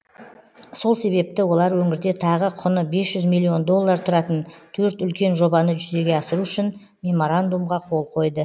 сол себепті олар өңірде тағы құны бес миллион доллар тұратын төрт үлкен жобаны жүзеге асыру үшін меморандумға қол қойды